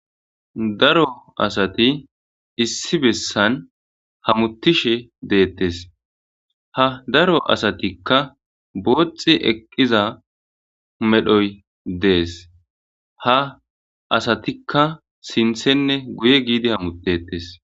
Daro asati issi bessan hamuttishe deettes ha daro asatikka booxi eqqiza medhoy dees ha asatikka sinthenne guye giidi hamutetes.